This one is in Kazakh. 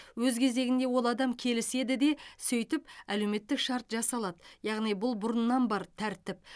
өз кезегінде ол адам келіседі де сөйтіп әлеуметтік шарт жасалады яғни бұл бұрыннан бар тәртіп